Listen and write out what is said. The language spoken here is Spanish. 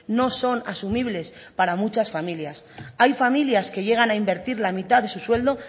no son asumibles para muchas familias hay familias que llegan a invertir la mitad de su sueldo